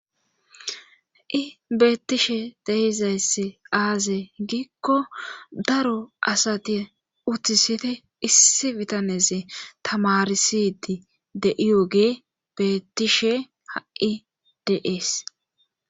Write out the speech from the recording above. I beettishe dehizayssi aaze giikko daro asati uttisiti issi bitaneze tamarisidi de'iyogee bettishe ha'i deees